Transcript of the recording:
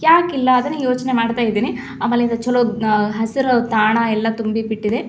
ಯಾಕಿಲ್ಲಾ ಅದನ್ನ ಯೋಚನೆ ಮಾಡತ್ತಾ ಇದೀನಿ ಆಮೇಲೆ ಈದ್ ಚಲೋದನ್ ಹಸಿರ ತಾಣ ಎಲ್ಲಾ ತುಂಬಿ ಬಿಟ್ಟಿದೆ.